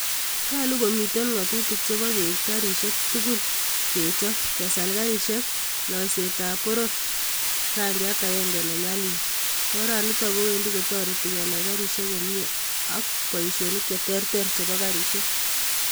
Nyolu komitei ng'atutiik chebo keip garisyek tugul ip kechop, kesal garisyekab loiseetab poror rangchat agenge ne nyalil oranitok kowendi kotoreti kenai garisyek komie ako boisionik cheterter chebo garisyek.